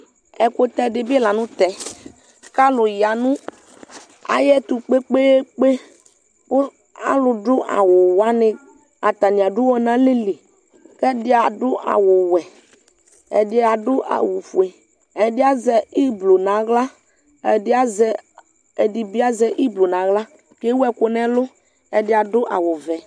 ɛkutɛ di bi lantɛ k'alo ya no ayɛto kpekpekpe kò alo do awu wani atani ado uwɔ n'alɛ li k'ɛdi ado awu wɛ ɛdi ado awu fue ɛdi azɛ iblu n'ala ɛdi azɛ ɛdi bi azɛ iblu n'ala k'ewu ɛkò n'ɛlu ɛdi ado awu vɛ